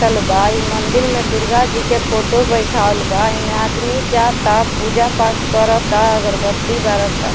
कटल बा इ मंदील में दुर्गा जी के फोटो बैठावल बा ऐमें आदमी जाता पूजा-पाठ करता अगरबत्ती बारता।